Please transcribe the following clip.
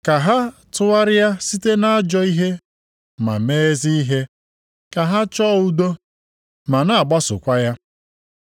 Ka ha tụgharịa site nʼajọ ihe ma mee ezi ihe; ka ha chọọ udo, ma na-agbasokwa ya.